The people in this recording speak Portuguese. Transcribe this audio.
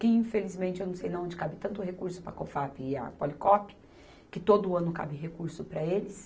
que, infelizmente, eu não sei onde cabe tanto recurso para a Cofap e a Policop, que todo ano cabe recurso para eles.